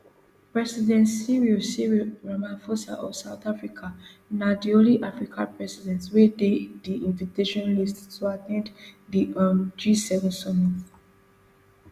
president cyril cyril ramaphosa of south africana di only african president wey dey di invitation list to at ten d di um gseven summit